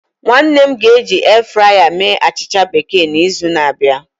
Nwanne m ga eji airfryer mee achịcha bekee na izu na abịa